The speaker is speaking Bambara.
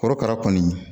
Korokara kɔni